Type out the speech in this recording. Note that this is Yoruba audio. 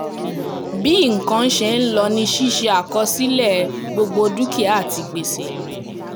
bí nǹkan ṣe ń lọ ni ṣíṣe àkọsílẹ̀ gbogbo dúkìá àti gbèsè